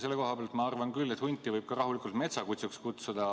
Selle koha pealt ma arvan küll, et hunti võib rahulikult ka metsakutsuks kutsuda.